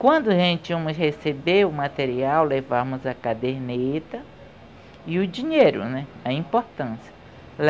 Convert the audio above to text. Quando a gente íamos receber o material, levávamos a caderneta e o dinheiro, né, a importância.